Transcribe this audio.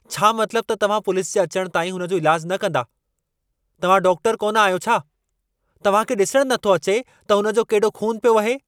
छा मतलबु त तव्हां पुलिस जे अचण ताईं हुन जो इलाजु न कंदा? तव्हां डाक्टरु कोन आहियो छा? तव्हां खे ॾिसण नथो अचे त हुन जो केॾो खून पियो वहे?